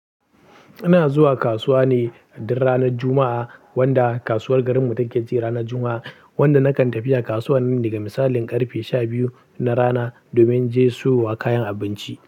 Ina zuwa kasuwa ne duk ranar Juma'a, wanda kasuwar garinmu take ci ranar Juma'a. Wanda nakan tafiya kasuwa nan daga misalin karfe sha biyu na rana domin je siyo wa kayan abinci.